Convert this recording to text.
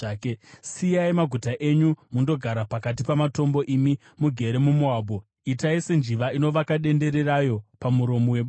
Siyai maguta enyu mundogara pakati pamatombo, imi mugere muMoabhu. Itai senjiva inovaka dendere rayo pamuromo webako.